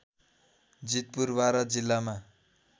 जितपुर बारा जिल्लामा